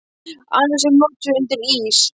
Annars er hún notuð undir ís.